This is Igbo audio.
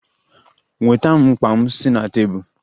Nweta m mkpa m si na tebụl!